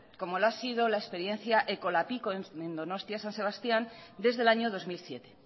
como lo ha sido la experiencia ekolapiko en donostia san sebastián desde el año dos mil siete